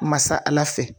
Masa ala fɛ